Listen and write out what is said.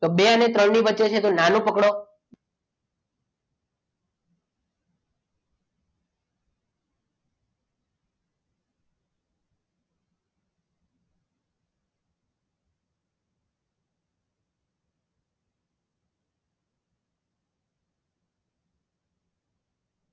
તો બે અને ત્રણ ની વચ્ચે છે તો નાનું પકડો